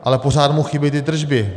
Ale pořád mu chybí ty tržby.